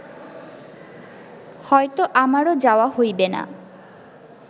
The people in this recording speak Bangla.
হয়ত আমারও যাওয়া হইবে না